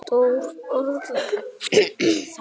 Stór orð og fallega sagt.